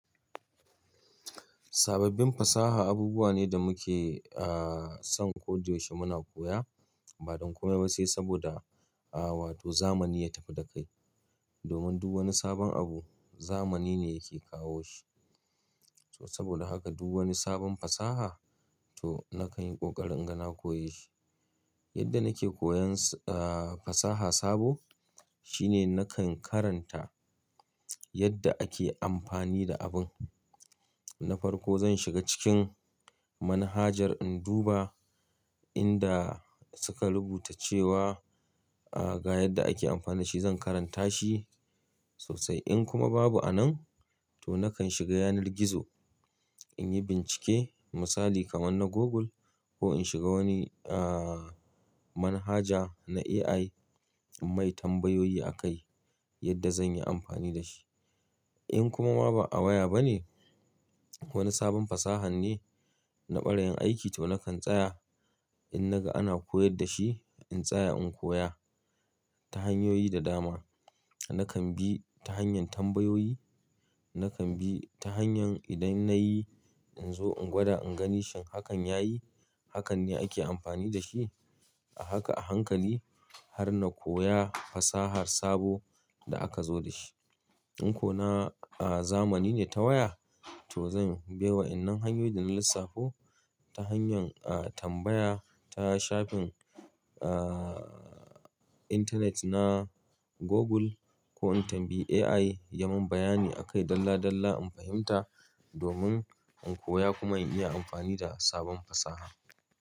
Sababbin fasaha abubuwa ne da muke, ah, son ko da yaushe muna koya, ba don komai ba sai saboda, ah, wato zamani ya tafi da kai. Domin duk wani sabon abu, zamani ne yake kawo shi. To saboda haka duk wani sabon fasaha, to nakan yi ƙoƙarin inga na koya shi. Yadda nake koyan, ah, fasaha sabo shine nakan karanta yadda ake amfani da abun. Na farko zan shiga cikin manhajar in duba inda suka rubuta cewa, ah, ga yadda ake amfani da shi zan karanta shi sosai. In kuma babu a nan, to nakan shiga yanar gizo in yi bincike, misali kaman na Google ko in shiga wani, ah, manhaja na AI mai tambayoyi akai yadda zan yi amfani da shi. In kuma ma ba a waya bane, wani sabon fasaha ne na ɓarayin aiki to nakan tsaya in naga ana koyar da shi, in tsaya in koya ta hanyoyi da dama. Nakan bi ta hanyar tambayoyi, nakan bi ta hanyar idan na yi in zo in gwada in gani shin hakan ya yi, hakan ne ake amfani da shi. A haka a hankali har na koya fasahar sabo da aka zo da shi. In ko na, ah, zamani ne ta waya, to zan bi wa innan hanyoyin da na lissafo ta hanyar, ah, tambaya ta shafin, ah, intanet na Google ko in tambayi AI ya mun bayani akai dalla-dalla in fahimta domin in koya kuma in iya amfani da sabon fasaha.